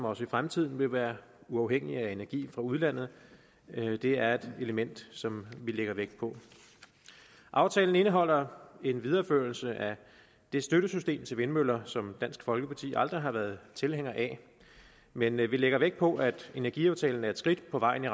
også i fremtiden vil være uafhængig af energi fra udlandet det er et element som vi lægger vægt på aftalen indeholder en videreførelse af det støttesystem til vindmøller som dansk folkeparti aldrig har været tilhænger af men vi lægger vægt på at energiaftalen er et skridt på vejen